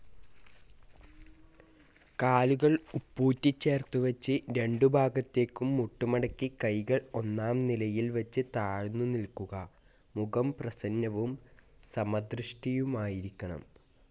കാലുകൾ ഉപ്പൂറ്റിചേർത്തു വച്ച്, രണ്ടു ഭാഗത്തേക്കും മുട്ടുമടക്കി കൈകൾ ഒന്നാം നിലയിൽ വച്ച് താഴ്ന്നു നിൽക്കുക. മുഖം പ്രസന്നവും സമദൃഷ്ടിയുമായിരിക്കണം.